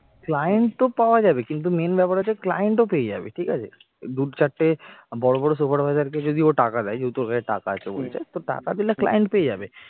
client তো পাওয়া যাবে কিন্তু main ব্যাপার হচ্ছে client ও পেয়ে যাবে ঠিক আছে দু'চারটে বড় বড় supervisor কে যদিও টাকা দেয় যেহেতু ওর কাছে টাকা আছে বলছে তো টাকা দিলে client পেয়ে যাবে